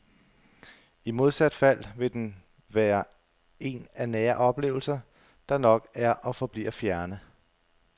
I modsat fald vil den være en af nære oplevelser, der nok er og forbliver fjerne.